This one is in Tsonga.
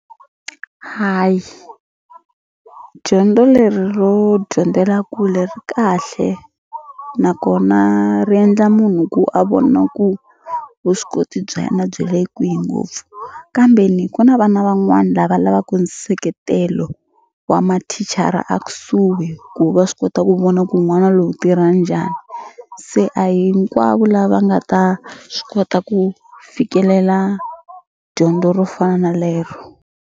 Hayi dyondzo leri ro dyondzela kule ri kahle nakona ri endla munhu ku a vona ku vuswikoti bya yena byi le kwihi ngopfu kambe ni ku na vana van'wani lava lavaku nseketelo wa mathicara a kusuhi ku va swi kota ku vona ku n'wana loyi u tirha njhani se a hinkwavo lava nga ta swi kota ku fikelela dyondzo ro fana na lero.